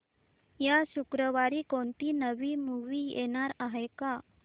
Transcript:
या शुक्रवारी कोणती नवी मूवी येणार आहे का